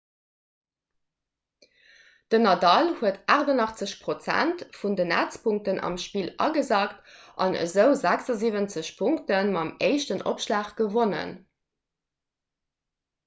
den nadal huet 88 % vun den netzpunkten am spill agesackt an esou 76 punkte mam éischten opschlag gewonnen